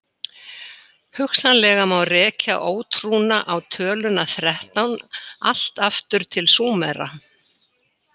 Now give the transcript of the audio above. Hugsanlega má rekja ótrúna á töluna þrettán allt aftur til Súmera.